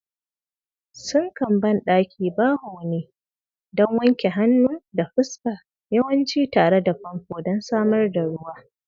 Sinkan bandaki bawo ne don wanke hannu da fuska, yawanci tare da famfo don samar da ruwa.